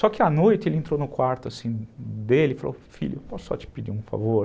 Só que à noite ele entrou no quarto dele e falou, filho, posso só te pedir um favor?